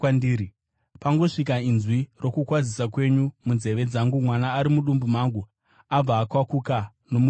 Pangosvika inzwi rokukwazisa kwenyu munzeve dzangu mwana ari mudumbu mangu abva akwakuka nomufaro.